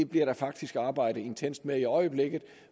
bliver der faktisk arbejdet intenst med i øjeblikket